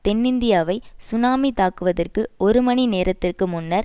தென்னிந்தியாவை tsunami தாக்குவதற்கு ஒரு மணி நேரத்திற்கு முன்னர்